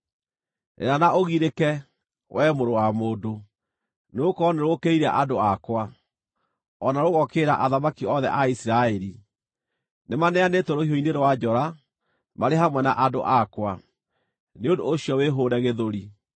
Rĩra na ũgirĩke, wee mũrũ wa mũndũ, nĩgũkorwo nĩrũũkĩrĩire andũ akwa, o na rũgookĩrĩra athamaki othe a Isiraeli. Nĩmaneanĩtwo rũhiũ-inĩ rwa njora marĩ hamwe na andũ akwa. Nĩ ũndũ ũcio wĩhũũre gĩthũri.